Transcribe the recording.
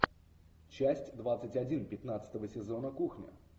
часть двадцать один пятнадцатого сезона кухня